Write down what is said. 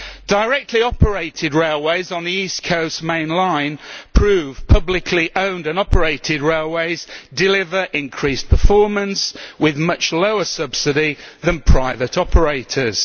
Directly operated railways on the East Coast mainline prove that publicly owned and operated railways deliver increased performance, with much lower subsidy than private operators.